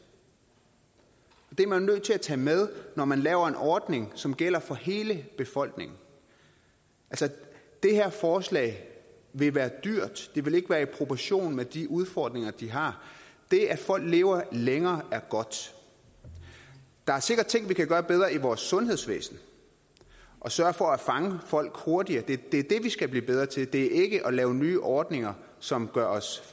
det er man nødt til at tage med når man laver en ordning som gælder for hele befolkningen det her forslag vil være dyrt det vil ikke være i proportion med de udfordringer de har det at folk lever længere er godt der er sikkert ting vi kan gøre bedre i vores sundhedsvæsen sørge for at fange folk hurtigere det er det vi skal blive bedre til det er ikke at lave nye ordninger som gør os